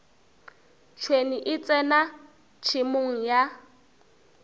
tšhwene e tsena tšhemong ya